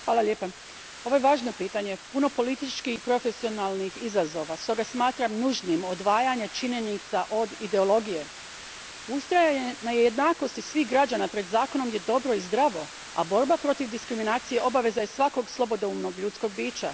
Gospodine predsjedniče, ovo je važno pitanje, puno političkih i profesionalnih izazova. Stoga smatram nužnim odvajanje činjenica od ideologije. Ustrajanje na jednakosti svih građana pred zakonom je dobro i zdravo, a borba protiv diskriminacije obaveza je svakog slobodoumnog ljudskog bića.